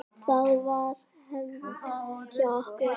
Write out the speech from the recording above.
Það var hefð hjá okkur.